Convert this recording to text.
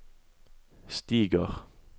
stiger